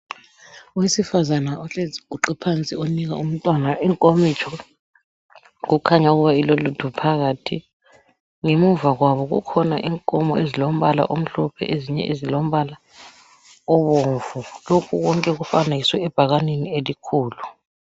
Owesifazana ohlezi eguqe phansi onika umntwana inkomitsho kukhanya ukuba ilolutho phakathi. Ngemuva kwabo kukhona inkomo ezilombala omhlophe ezinye ezilombala obomvu. Lokhu konke kufanekiswe ebhakaneni elikhulu.